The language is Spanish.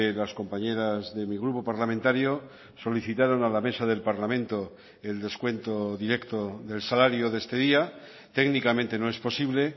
las compañeras de mi grupo parlamentario solicitaron a la mesa del parlamento el descuento directo del salario de este día técnicamente no es posible